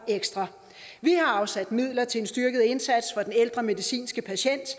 ekstra vi har afsat midler til en styrket indsats for den ældre medicinske patient